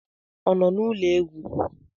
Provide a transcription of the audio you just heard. Ọ nọ n'ụlọ egwu?